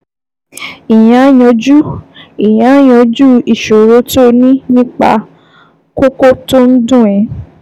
Ìyẹn á yanjú Ìyẹn á yanjú ìṣòro tó o ní nípa kókó tó ń dùn ẹ́